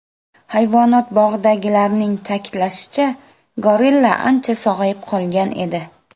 Hayvonot bog‘idagilarning ta’kidlashicha, gorilla ancha sog‘ayib qolgan edi.